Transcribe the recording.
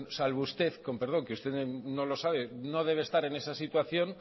salvo usted con perdón que usted no lo sabe no debe estar en esa situación